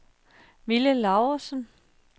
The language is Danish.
Mille Laursen